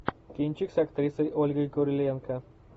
кинчик с актрисой ольгой куриленко